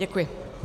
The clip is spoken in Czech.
Děkuji.